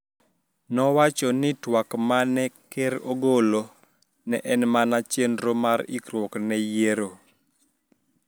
Nowacho ni twak ma ne ker ogolo ne en mana chenro mar ikruok ne yiero.